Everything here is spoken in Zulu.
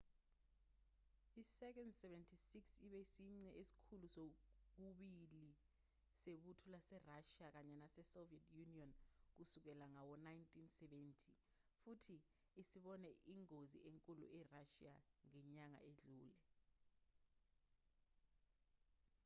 i-il-76 ibe isici esikhulu kokubili sebutho laserashiya kanye nasesoviet union kusukela ngawo-1970 futhi isibone ingozi enkulu erashiya ngenyanga edlule